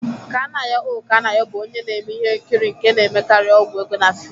Kanayo O Kanayo bụ onye na-eme ihe nkiri nke na-emekarị ọgwụ ego na fiim.